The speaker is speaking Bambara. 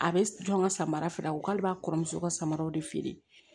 A bɛ dɔn ka samara feere u k'ale b'a kɔrɔmuso ka samaraw de feere